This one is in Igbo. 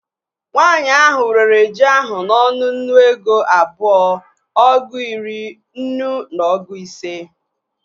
Nwaanyi ahụ rere ji ahụ n'ọnụ nnu ego abụọ, ọgụ iri, nnu na ọgụ ise